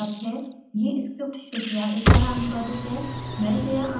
अधिक जानकारी इस लिंक पर उपलब्ध है: